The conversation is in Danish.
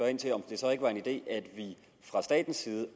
ind til om det så ikke var en idé at vi fra statens side